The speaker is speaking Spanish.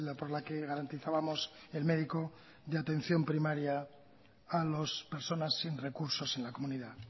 por la que garantizábamos el médico de atención primaria a las personas sin recursos en la comunidad